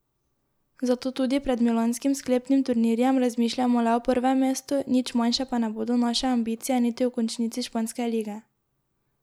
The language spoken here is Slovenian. Zato tudi pred milanskim sklepnim turnirjem razmišljamo le o prvem mestu, nič manjše pa ne bodo naše ambicije niti v končnici španske lige.